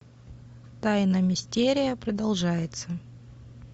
тайна мистерия продолжается